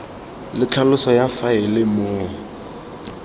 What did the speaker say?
le tlhaloso ya faele moo